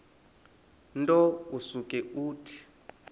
nto usuke uthi